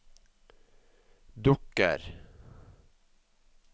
dukker